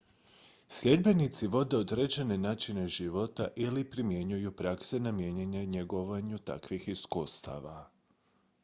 sljedbenici vode određene načine života ili primjenjuju prakse namijenjene njegovanju takvih iskustava